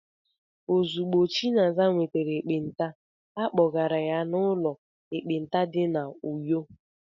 Ozugbo Chinaza nwetara ekpenta, a kpọgara ya n'ụlọ ekpenta dị na Uyo.